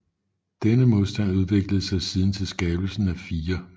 Denne modstand udviklede sig siden til skabelsen af 4